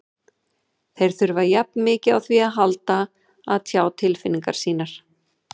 Þeir þurfa jafn mikið á því að halda að tjá tilfinningar sínar.